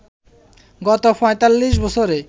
গত ৪৫ বছরে